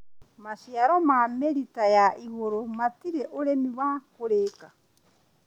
Maciaro ma mĩrita ya igũrũ matirĩ ũrĩmi wa kũrĩka